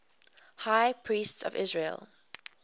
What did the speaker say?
high priests of israel